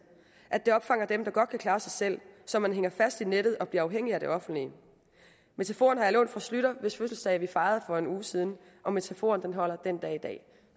at det opfanger dem der godt kan klare sig selv så man hænger fast i nettet og bliver afhængig af det offentlige metaforen har jeg lånt fra poul schlüter hvis fødselsdag vi fejrede for en uge siden og metaforen holder den dag i dag